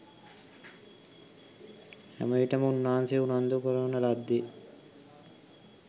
හැමවිටම උන්වහන්සේ උනන්දු කරවන ලද්දේ